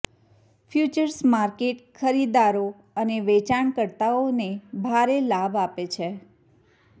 futures market ખરીદદારો અને વેચાણકર્તાઓને ભારે લાભ આપે છે